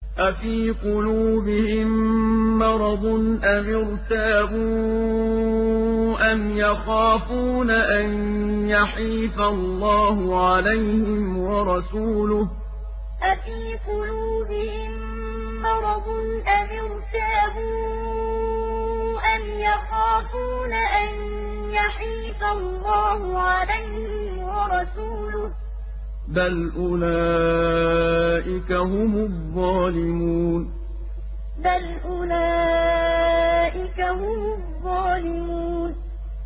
أَفِي قُلُوبِهِم مَّرَضٌ أَمِ ارْتَابُوا أَمْ يَخَافُونَ أَن يَحِيفَ اللَّهُ عَلَيْهِمْ وَرَسُولُهُ ۚ بَلْ أُولَٰئِكَ هُمُ الظَّالِمُونَ أَفِي قُلُوبِهِم مَّرَضٌ أَمِ ارْتَابُوا أَمْ يَخَافُونَ أَن يَحِيفَ اللَّهُ عَلَيْهِمْ وَرَسُولُهُ ۚ بَلْ أُولَٰئِكَ هُمُ الظَّالِمُونَ